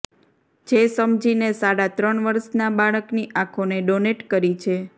જે સમજીને સાડાત્રણ વર્ષના બાળકની આંખોને ડોનેટ કરી છે